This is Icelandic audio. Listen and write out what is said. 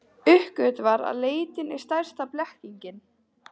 Uppgötvar að leitin er stærsta blekkingin.